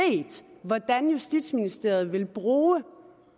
hvordan justitsministeriet vil bruge